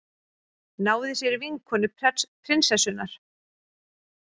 Náði sér í vinkonu prinsessunnar